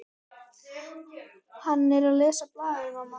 Hann er að lesa blaðið, mamma!